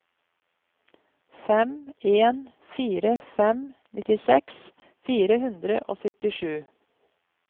fem en fire fem nittiseks fire hundre og syttisju